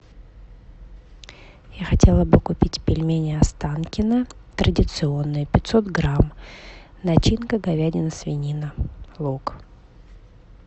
я хотела бы купить пельмени останкино традиционные пятьсот грамм начинка говядина свинина лук